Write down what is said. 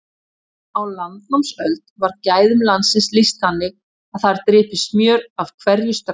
Á landnámsöld var gæðum landsins lýst þannig að þar drypi smjör af hverju strái.